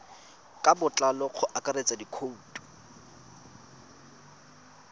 ka botlalo go akaretsa dikhoutu